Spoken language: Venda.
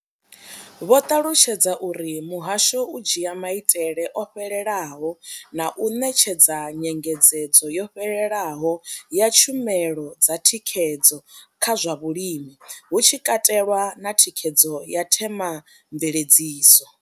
Vho ṱalutshedza uri muhasho u dzhia maitele o fhelelaho na u ṋetshedza nyengedzedzo yo fhelelaho ya tshumelo dza thikhedzo kha zwa vhulimi, hu tshi katelwa na thikhedzo ya themamveledziso.